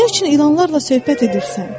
Nə üçün ilanlarla söhbət edirsən?